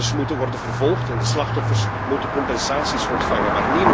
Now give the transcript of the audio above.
De daders moeten worden vervolgd en de slachtoffers moeten compensaties ontvangen.